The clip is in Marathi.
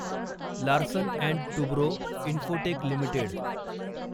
Larsen and Toubro Infotech limited